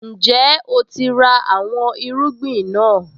Ǹjẹ́ o ti ra àwọn irúgbìn náà?